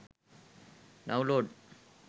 download